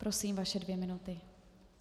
Prosím, vaše dvě minuty.